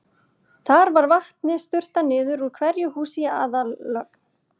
Þar var vatni sturtað niður úr hverju húsi í aðallögn.